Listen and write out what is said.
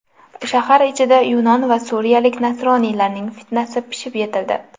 Shahar ichida yunon va suriyalik nasroniylarning fitnasi pishib yetildi .